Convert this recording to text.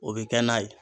O bɛ kɛ n'a ye